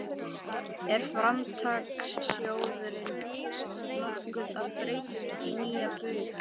Er Framtakssjóðurinn nokkuð að breytast í nýja Baug?